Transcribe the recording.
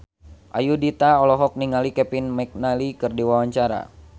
Ayudhita olohok ningali Kevin McNally keur diwawancara